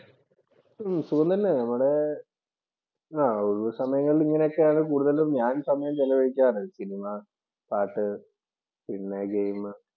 സുഖം തന്നെയാണ്. നമ്മുടെ ഒരു സമയങ്ങളിൽ ഇങ്ങനെയൊക്കെ കൂടുതലും ഞാൻ സമയം ചെലവഴിക്കാറ്. സിനിമ, പാട്ട് പിന്നെ ഗെയിം